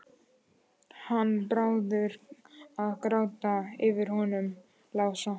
Hann Bárður að gráta yfir honum Lása!